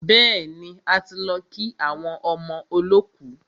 Bẹ́ẹ̀ni, a ti lọ kí àwọn ọmọ olọ́kù.